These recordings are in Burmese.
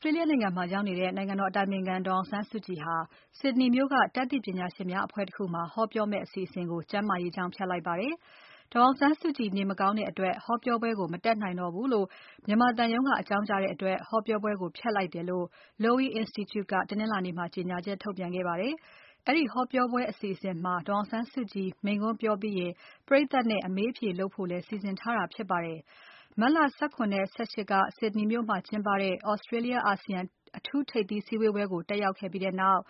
စတြေးလျနိုင်ငံမှာ ရောက်နေတဲ့ နိုင်ငံတော်အတိုင်ပင်ခံဒေါ်အောင်ဆန်းစုကြည်ဟာ ဒီကနေ့ အင်္ဂါနေ့ မှာ Sydney မြို့က တတ်သိပညာရှင်များအဖွဲ့တခုမှာ ဟောပြောမယ့်အစီအစဉ်ကို ကျန်းမာရေးကြောင့် ဖျက်လိုက်ပါတယ်။ ဒေါ်အောင်ဆန်းစုကြည် နေမကောင်းတဲ့အတွက် ဟောပြောပွဲကို မတက်နိုင်တော့ဘူးလို့ မြန်မာသံရုံးက အကြောင်းကြားတဲ့အတွက် ဟောပြောပွဲကို ဖျက်လိုက်တယ်လို့ Lowy Institute က အင်္ဂါနေ့မှာ ကြေညာချက်ထုတ်ပြန်ခဲ့ပါတယ်။ အဲဒီဟောပြောပွဲအစီအစဉ်မှာ ဒေါ်အောင်ဆန်းစုကြည်မိန့်ခွန်းပြောကြားပြီး ပရိတ်သတ်နဲ့ အမေးအဖြေဖို့လည်း စီစဉ်ထားတာဖြစ်ပါတယ်။ မတ်လ ၁၇ နဲ့ ၁၈ က Sydney မြို့မှာကျင်းပတဲ့ Australia ASEAN အထူးထိပ်သီးစည်းဝေးပွဲကို တက်ရောက်ပြီးနောက်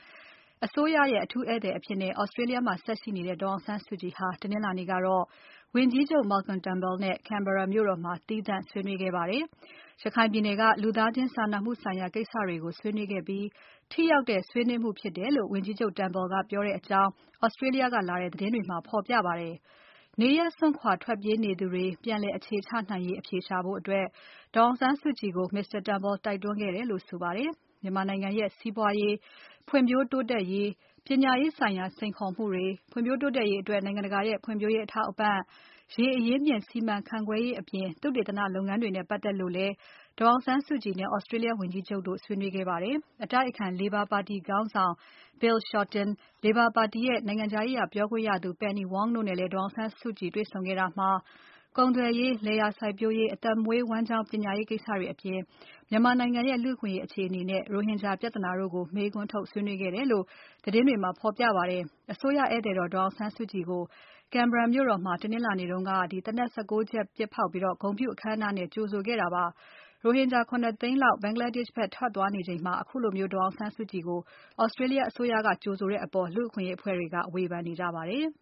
အစိုးရအထူးဧည့်သည်အဖြစ် Australia မှာဆက်ရှိနေတဲ့ ဒေါ်အောင်ဆန်းစုကြည်ဟာ တနင်္လာနေ့ကတော့ ဝန်ကြီးချုပ် Malcolm Turnbull နဲ့ Canberra မြို့တော်မှာ သီးသန့်ဆွေးနွေးခဲ့ကြပါတယ်။ ရခိုင်ပြည်နယ်က လူသားချင်းစာနာမှုဆိုင်ရာကိစ္စတွေကို ဆွေးနွေးခဲ့ပြီး ထိရောက်တဲ့ ဆွေးနွေးမှုဖြစ်တယ်လို့ ဝန်ကြီးချုပ် Turnbull ကပြောတဲ့အကြောင်း Australia ကလာတဲ့သတင်းတွေမှာ ဖော်ပြပါတယ်။ နေရပ်စွန်ခွာထွက်ပြေးနေသူတွေ ပြန်လည်အခြေချနိုင်ရေး အဖြေရှာဖို့ ဒေါ်အောင်ဆန်းစုကြည်ကို Mr. Turnbull တိုက်တွန်းခဲ့တယ်လို့ ဆိုပါတယ်။ မြန်မာနိုင်ငံရဲ့ စီးပွားရေး ဖွံ့ဖြိုးတိုးတက်ရေး၊ ပညာရေးဆိုင်ရာ စိန်ခေါ်မှုတွေ ဖွံ့ဖြိုးတိုးတက်ရေးအတွက် နိုင်ငံတကာရဲ့ ဖွံ့ဖြိုးရေးအထောက်အပံ့၊ ရေအရင်းအမြစ်စီမံခန့်ခွဲရေး၊ သုတေသနလုပ်ငန်းတွေနဲ့ ပတ်သက်လို့လည်း ဒေါ်အောင်ဆန်းစုကြည်နဲ့ Australia ဝန်ကြီးချုပ်တို့ ဆွေးနွေးခဲ့ကြပါတယ်။ အတိုက်အခံ လေဘာပါတီခေါင်းဆောင် Bill Shorten လေဘာပါတီရဲ့ နိုင်ငံခြားရေးရာပြောခွင့်ရသူ Penny Wong တို့နဲ့လည်း ဒေါ်အောင်ဆန်းစုကြည်တွေ့ဆုံခဲ့တာမှာ ကုန်သွယ်ရေး။ လယ်ယာစိုက်ပျိုးရေး၊ အသက်မွေးဝမ်းကျောင်းပညာရေးကိစ္စတွေအပြင် မြန်မာနိုင်ငံရဲ့ လူ့အခွင့်အရေးအခြေအနေနဲ့ ရိုဟင်ဂျာပြဿနာကို မေးခွန်းထုတ်ဆွေးနွေးခဲ့ကြတယ်လို့ သတင်းတွေမှာ ဖော်ပြပါတယ်။ အစိုးရဧည့်သည်တော် ဒေါ်အောင်ဆန်းစုကြည်ကို Canberra မြို့တော်မှာ တနင်္လာနေ့က သေနတ် ၁၉ ချက်ပစ်ဖေါက်ပြီး ဂုဏ်ပြုအခမ်းအနားနဲ့ ကြိုဆိုခဲ့တာပါ။ ရိုဟင်ဂျာ ၇ သိန်းလောက် ဘင်္ဂလားဒေရှ့်ထွက်သွားနေချိန်မှာ ခုလို ဒေါ်အောင်ဆန်းစုကြည်ကို Australia အစိုးရက ကြိုဆိုတဲ့အပေါ် လူ့အခွင့်အရေးအဖွဲ့တွေက ဝေဖန်နေကြပါတယ်